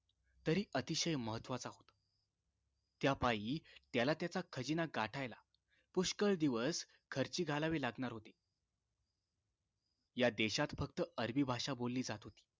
तरी अतिशय महत्वाचा होता त्यापायी त्याला त्याचा खजिना गाठायला पुष्कळ दिवस खर्ची घालावे लागणार होते या देशात फक्त अरबी भाषा बोलली जात होती